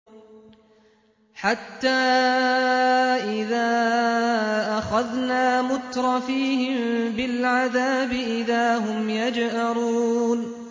حَتَّىٰ إِذَا أَخَذْنَا مُتْرَفِيهِم بِالْعَذَابِ إِذَا هُمْ يَجْأَرُونَ